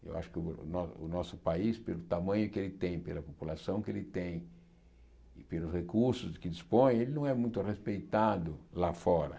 Eu acho que o no o nosso país, pelo tamanho que ele tem, e pela população que ele tem e pelos recursos que dispõe, ele não é muito respeitado lá fora.